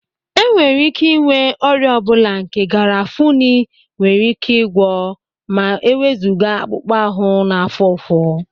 Enwere ike inwe ọrịa ọ bụla nke garafuni nwere ike gwọọ ma ewezuga akpụkpọ ahụ na-afụ ụfụ